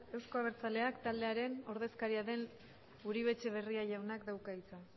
euzko abertzaleak taldearen ordezkaria den uribe etxebarria jaunak dauka hitza